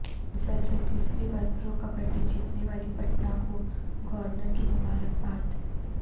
مسلسل تیسری بار پرو کبڈی جتینے والی پٹنہ کو گورنر کی مبارکباد